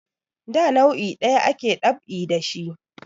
Da nau'i ɗaya ake dab'i da shi